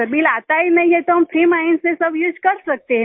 bill आता ही नहीं है तो हम फ्री माइंड से सब उसे कर सकते हैं न